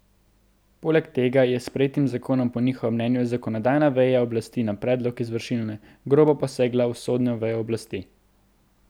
Poleg tega je s sprejetim zakonom po njihovem mnenju zakonodajna veja oblasti na predlog izvršilne grobo posegla v sodno vejo oblasti.